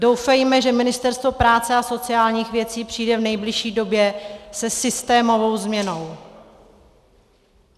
Doufejme, že Ministerstvo práce a sociálních věcí přijde v nejbližší době se systémovou změnou.